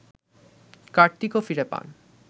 কার্তিকও ফিরে পান